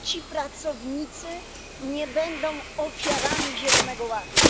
Czy ci pracownicy nie będą ofiarami Zielonego Ładu?